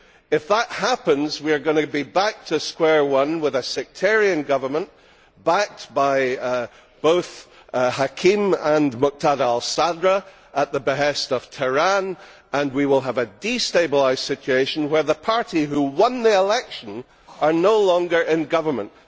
If that happens, we are going to be back to square one, with a sectarian government, backed by both al Hakim and Muqtada al Sadr at the behest of Tehran, and we will have a destabilised situation where the party who won the election is no longer in government.